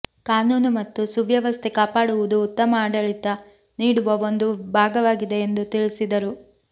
ಕಾನೂನು ಮತ್ತು ಸುವ್ಯವಸ್ಥೆ ಕಾಪಾಡುವುದು ಉತ್ತಮ ಆಡಳಿತ ನೀಡುವ ಒಂದು ಭಾಗವಾಗಿದೆ ಎಂದು ತಿಳಿಸಿದರು